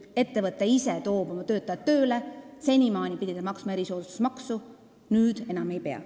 Ettevõte, kes toob ise oma töötajad tööle, pidi senimaani maksma erisoodustusmaksu, nüüd enam ei pea.